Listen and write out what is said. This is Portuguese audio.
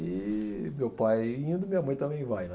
E meu pai indo, minha mãe também vai, né?